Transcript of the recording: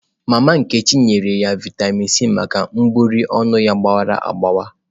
Mama nkechi nyere ya Vịatamin C maka egbugbere ọnụ ya gbawara agbawa.